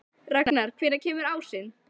Ragnar, hvenær kemur ásinn?